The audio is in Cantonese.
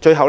最後，